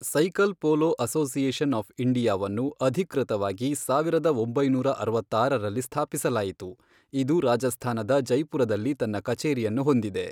Cycle polo association of ಇಂಡಿಯಾವನ್ನು, ಅಧಿಕೃತವಾಗಿ ಸಾವಿರದ ಒಂಬೈನೂರ ಅರವತ್ತಾರರಲ್ಲಿ ಸ್ಥಾಪಿಸಲಾಯಿತು, ಇದು ರಾಜಸ್ಥಾನದ ಜೈಪುರದಲ್ಲಿ ತನ್ನ ಕಚೇರಿಯನ್ನು ಹೊಂದಿದೆ.